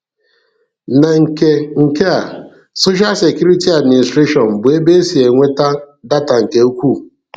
Na nke nke a, Social Security Administration bụ ebe e si enweta data nke ukwuu.